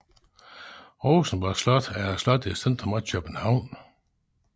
Rosenborg slot er et slot i centrum af København